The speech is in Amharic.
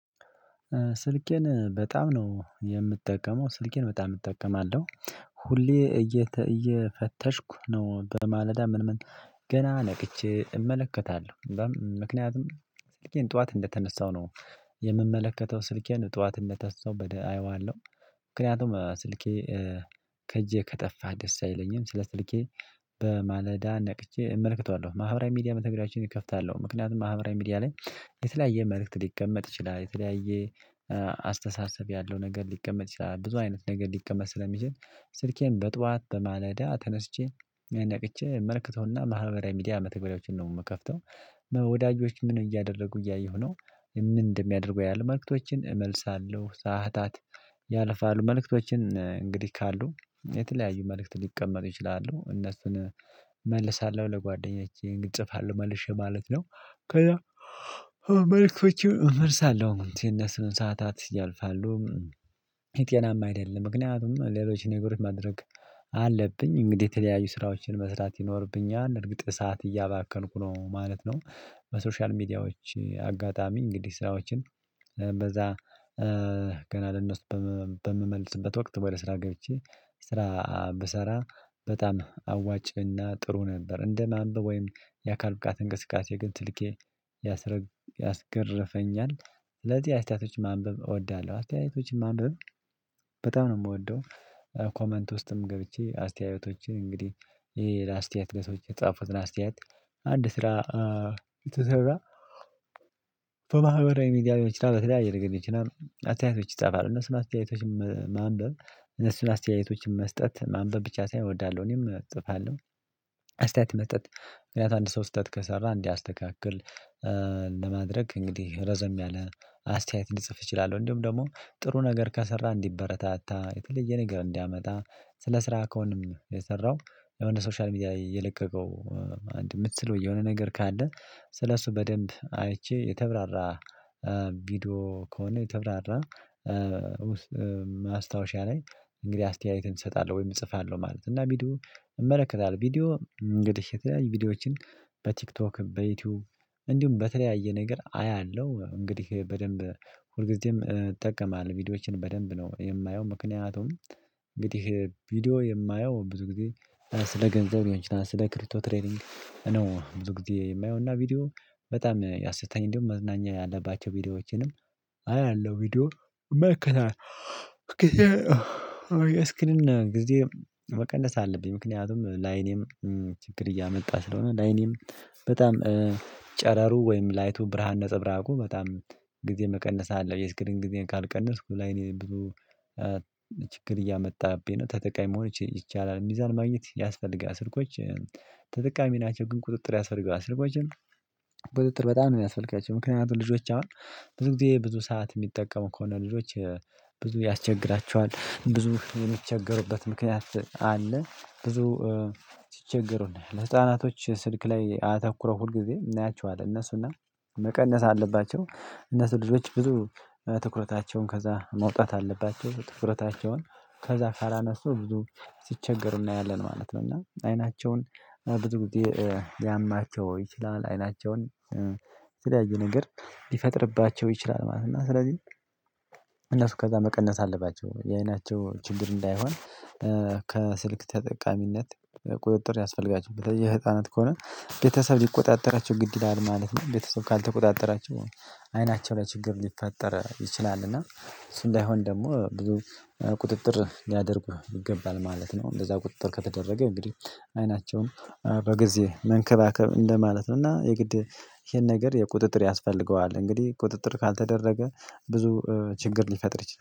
ስልኬን በጣም ነው የምጠቀመው ስልኬን በጣም እጠቀማለሁ። ሁሌ እየፈተሽኩ ነው በማለዳ ምን ምን ገና ነቅቼ እመለከታለሁ። ምክንያቱም ስልኬን ጠዋት እንደተነሳው ነው የምመለከተው ስልኬን ጠዋት እንደተነሰው በደ አየዋለሁ። ምክንያቱም ስልኬ ከእጄ ከጠፋ ደስ አይለኝም ስለ ስልኬ በማለዳ ነቅቼ እመልከታለሁ። ማህበራዊ ሚዲያ መተግሪያችን ይከፍታሉ ምክንያቱም ማህበራዊ ሚዲያ ላይ የተለያየ መልእክት ሊቀመጥ ይችላል። የተለያየ አስተሳሰብ ያለው ነገር ሊቀመጥ ይችላል ብዙ አይነት ነገር ሊቀመጥ ስለሚችል። ስልኬን በጧት በማለዳ ተነስቼ ነቅቼ መልክተውና ማህበራዊ ሚዲያ መተግበሪያዎችን ነው ምከፍተው። ወዳጆች ምን እያደረጉ እያየሁ ነው ምን እንደሚያደርጉ አያለሁ መልእክቶችን እመልሳለሁ። ሰዓታት ያልፋሉ መልእክቶችን እንግዲህ ካሉ የተለያዩ መልእክት ሊቀመጥ ይችላሉ እነሱን እመልሳለሁ። ለጓደኛቼዬ ጽፋለሁ መልሼ ማለት ነው። ከዛ መልእክቶችን እመርሳለሁ የነሱን ሰዓታት ያልፋሉ። ጤናማ አይደለም ምክንያቱም ሌሎች ነገሮች ማድረግ አለብኝ። እንግዲህ የተለያዩ ስራዎችን መስራት ይኖርብኛል እርግጥ ሰዓት እያባከንኩ ነው ማለት ነው። በሶሻል ሚዲያዎች አጋጣሚ እንግዲህ ስራዎችን በዛ ገና ለነሱ በምመልስበት ወቅት ወደ ስራ ገብቼ ስራ ብሰራ በጣም አዋጭና ጥሩ ነበር። እንደ ማንበብ ወይም የአካል ብቃት እንቅስቃሴ ግን ትልቄ ያስገረፈኛል። ስለዚህ አስተያየቶች ማንበብ እወዳለሁ አስተያየቶችን ማንበብ በጣም ነው ምወደው። ኮመንት ውስጥም ገብቼ አስተያየቶችን እንግዲህ የሌላ አስተያየት ለሰዎች የተጻፉትን አስተያየት አንድ ስራ ስሰራ በማህበራዊ ሚዲያ ሊሆን ይችላል በተለያየ ነገር ሊሆን ይችላል። አተያየቶች ይፃፋሉ እነሱን አተያየቶች ማንበብ እነሱን አስተያየቶችን መስጠት ማንበብ ብቻ ሳይሆን እወዳለሁ እኔም እጽፋለሁ። አስተያየት መስጠት ምክንያት አንድ ሰው ስህተት ከሰራ እንዲያስተካክል ለማድረግ እንግዲህ ረዘም ያለ አስተያየት ልፅፍ እችላለሁ። እንዲሁም ደግሞ ጥሩ ነገር ከሰራ እንዲበረታታ የተለየ ነገር እንዲያመጣ ስለ ስራ ከሆነም የሰራው የሆነ ሶሻል ሚዲያ የለቀቀው አንድ የምትለው የሆነ ነገር ካለ ስለሱ በደንብ አይቼ የተብራራ ቪዲዮ ከሆነ የተብራራ ማስታወሻ ላይ እንግዲህ አስተያየቴን እሰጣለሁ። ወይም እጽፋለሁ ማለት ነው እና ቪዲዮ እመለከታለሁ። ቪዲዮ እንግዲህ የተለያዩ ቪዲዮዎችን በቲክቶክ በዩቲዩብ እንዲሁም በተለያየ ነገር አያለሁ። እንግዲህ በደንብ ሁልጊዜም እጠቀማለሁ ቪዲዮዎችን በደንብ ነው የማየው። ምክንያቱም እንግዲህ ቪዲዮ የማየው ብዙ ጊዜ ስለ ገንዘብ ሊሆን ይችላል ስለ ክሪቶ ትሬዲንግ ነው። ብዙ ጊዜ የማየው እና ቪዲዮ በጣም ያሰተኝ እንዲሁም መዝናኛ ያለባቸው ቪዲዮዎችንም አያለሁ። ቪዲዮ እመለከታለሁ ጊዜ መቀነስ አለብኝ። ምክንያቱም ለአይኔም ችግር እያመጣ ስለሆነ ለአይኔም በጣም ጨረሩ ወይም ላይቱ ብርሃን ነፀብራቁ በጣም ጊዜ መቀነስ አለብኝ የስክሪን ጊዜን ካልቀነስኩ ለአይኔ ብዙ ችግር እያመጣብኝ ነው። ተጠቃሚ መሆን ይቻላል ሚዛን ማግኘት ያስፈልጋል። ስልኮች ተጠቃሚ ናቸው። ግን ቁጥጥር ያስፈልጋል ስልኮችን ቁጥጥር በጣም ነው የሚያስፈልጋቸው። ምክንያቱም ልጆች አሁን ብዙ ጊዜ ብዙ ሰዓት የሚጠቀሙ ከሆነ ልጆች ብዙ ያስቸግራቸዋል ብዙ የሚቸገሩበት ምክንያት አለ። ብዙ ሲቸገሩና ለህፃናቶች ስልክ ላይ አተኩረው ሁልጊዜ እናያቸዋለን። እነሱና መቀነስ አለባቸው እነሱ ልጆች ብዙ ትኩረታቸውን ከዛ ማውጣት አለባቸው ትኩረታቸውን ከዛ ካላነሱ ብዙ ሲቸገሩ እናያለን ማለት ነው። እና አይናቸውን ብዙ ጊዜ ሊያማቸው ይችላል። አይናቸውን የተለያዩ ነገር ሊፈጥርባቸው ይችላል ማለት ነው። እና ስለዚህ እነሱ ከዛ መቀነስ አለባቸው። የአይናቸው ችግር እንዳይሆን ከስልክ ተጠቃሚነት ቁጥጥር ያስፈልጋቸው በተለይ የህፃናት ከሆነ ቤተሰብ ሊቆጣጠራቸው ግድ ይላል ማለት ነው። ቤተሰብ ካልተቆጣጠራቸው አይናቸው ላይ ችግር ሊፈጠር ይችላል። እና እሱ እንዳይሆን ደግሞ ብዙ ቁጥጥር ሊያደርጉ ይገባል ማለት ነው። እንደዛ ቁጥጥር ከተደረገ እንግዲህ አይናቸውን በጊዜ መንከባከብ እንደማለት ነው። እና የግድ ይሄን ነገር የቁጥጥር ያስፈልገዋል። እንግዲህ ቁጥጥር ካልተደረገ ብዙ ችግር ሊፈጥር ይችላል